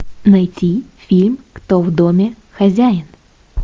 найти фильм кто в доме хозяин